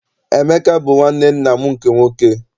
Emeka bụ nwanne nna m nke nwoke.